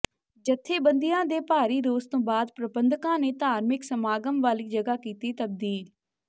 ਜਥੇਬੰਦੀਆਂ ਦੇ ਭਾਰੀ ਰੋਸ ਤੋਂ ਬਾਅਦ ਪ੍ਰਬੰਧਕਾਂ ਨੇ ਧਾਰਮਿਕ ਸਮਾਗਮ ਵਾਲੀ ਜਗ੍ਹਾ ਕੀਤੀ ਤਬਦੀਲ